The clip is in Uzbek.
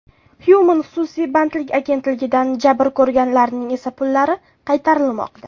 Human xususiy bandlik agentligidan jabr ko‘rganlarning esa pullari qaytarilmoqda .